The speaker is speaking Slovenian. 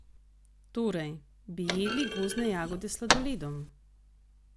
Torej, bi jedli gozdne jagode s sladoledom?